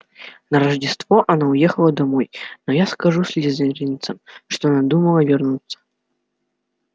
на рождество она уехала домой но я скажу слизеринцам что надумала вернуться